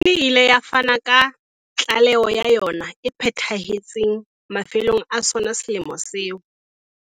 Komishini e ile ya fana ka tlaelo ya yona e phethahetseng mafelong a sona selemo seo.